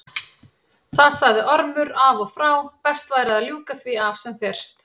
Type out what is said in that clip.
Það sagði Ormur af og frá, best væri að ljúka því af sem fyrst.